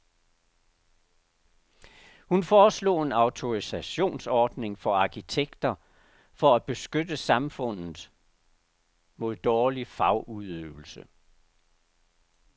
Hun foreslog en autorisationsordning for arkitekter for at beskytte samfundet mod dårlig fagudøvelse.